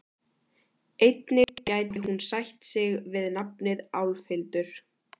Einnig gæti hún sætt sig við nafnið Álfhildur.